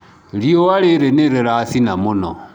Riũa rĩrĩ nĩ rĩracina mũno.